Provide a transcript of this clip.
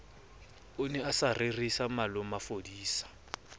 ne a sa rerisa malomafodisa